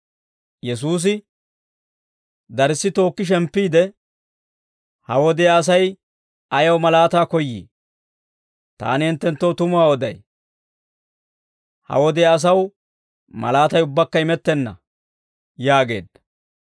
Yesuusi darssi tookki shemppiide, «Ha wodiyaa Asay ayaw malaataa koyyii? Taani hinttenttoo tumuwaa oday; ha wodiyaa asaw malaatay ubbaakka imettenna» yaageedda.